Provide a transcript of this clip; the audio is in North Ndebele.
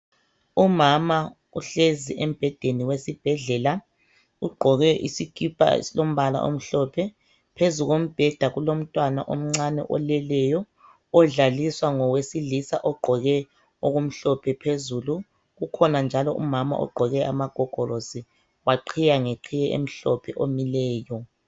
Umama uhlezi embhedeni wesibhedlela, ugqoke isikipa esilombala omhlophe phezukombhedala kulomntwana omnace oleleyo odlaliswa ngowesilisa ogqoke okumhlophe phezulu, kukhona njalo umama ogqoke amagogorosi waqhiya ngeqhiye emhlophe omileyo.